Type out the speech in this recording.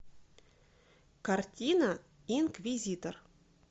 картина инквизитор